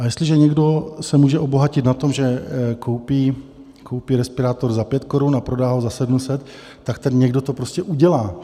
A jestliže někdo se může obohatit na tom, že koupí respirátor za pět korun a prodá ho za 700, tak ten někdo to prostě udělá.